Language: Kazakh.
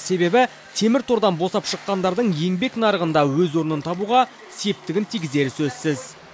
себебі темір тордан босап шыққандардың еңбек нарығында өз орнын табуға септігін тигізері сөзсіз